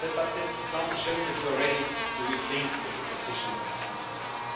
This example shows that you are ready to rethink your position from time to time.